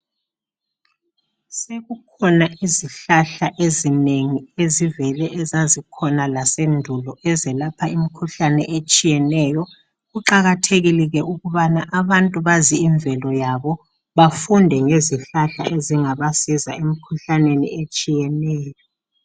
Sekukhona izihlahla ezinengi ezivele zikhona lasendulo ezelapha imikhuhlane etshiyeneyokuqakathekile ukuthi abantu bazi invelo yabo bafunde ngezihlahla ezingabasiza emikhuhlaneni etshiyeneyo